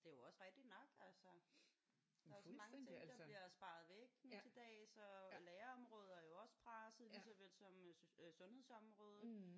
Men det er jo også rigtigt nok altså. Der er så mange ting der bliver sparet væk nu til dags og lærerområdet er jo også presset lige så vel som sundhedsområdet